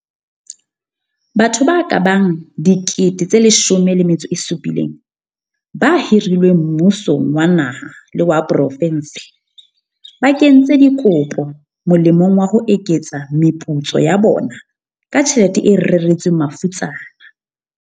Batho ba kabang 17 000 ba hirilweng mmusong wa naha le wa profense ba kentse dikopo molemong wa ho eketsa meputso ya bona ka tjhelete e reretsweng mafutsana.